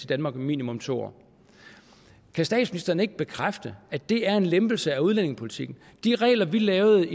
danmark i minimum to år kan statsministeren ikke bekræfte at det er en lempelse af udlændingepolitikken de regler vi lavede